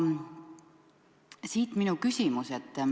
Siit minu küsimus.